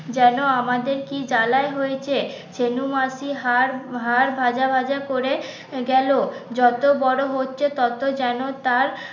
যেন আমাদের কি জ্বালায় হইছে ছেনু মাসি হাড় ভাজা ভাজা করে গেল যত বড় হচ্ছে তত যেন তার